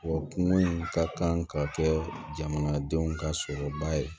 Wa kungo in ka kan ka kɛ jamanadenw ka sɔrɔba ye